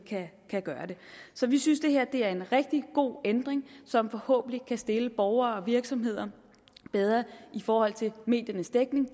kan gøre det så vi synes det her er en rigtig god ændring som forhåbentlig kan stille borgere og virksomheder bedre i forhold til mediernes dækning